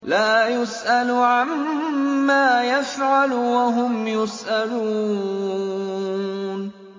لَا يُسْأَلُ عَمَّا يَفْعَلُ وَهُمْ يُسْأَلُونَ